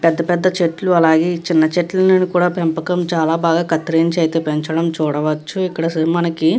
పెద్ద పెద్ద చెట్లు అలాగే చిన్న చెట్లను కూడా పెంపకం చాలా బాగా కత్తిరించి అయితే పెంచడం చూడవచ్చు. ఇక్కడ మనకి --